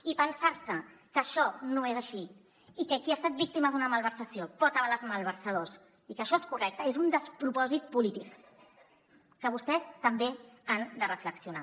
i pensar se que això no és així i que qui ha estat víctima d’una malversació pot avalar els malversadors i que això és correcte és un despropòsit polític que vostès també hi han de reflexionar